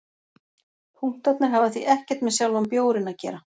Punktarnir hafa því ekkert með sjálfan bjórinn að gera.